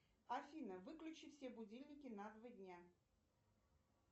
афина выключи все будильники на два дня